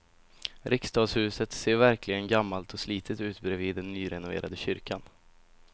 Riksdagshuset ser verkligen gammalt och slitet ut bredvid den nyrenoverade kyrkan.